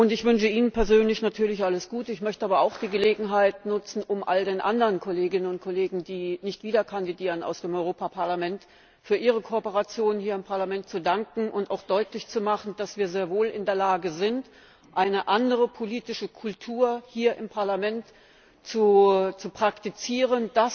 Ich wünsche Ihnen persönlich natürlich alles Gute, möchte aber auch die Gelegenheit nutzen, um all den anderen Kolleginnen und Kollegen, die nicht wieder für das Europaparlament kandidieren, für ihre Kooperation hier im Parlament zu danken und auch deutlich zu machen, dass wir sehr wohl in der Lage sind, eine andere politische Kultur hier im Parlament zu praktizieren.